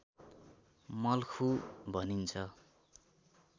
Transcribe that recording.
मल्खु भनिन्छ